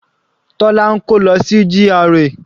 Tola ń kó lọ sí GRA.